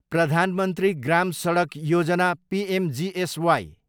Pradhan Mantri Gram Sadak Yojana, PMGSY